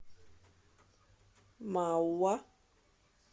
мауа